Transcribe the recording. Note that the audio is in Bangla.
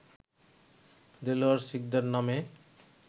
দেলোয়ার শিকদার নামে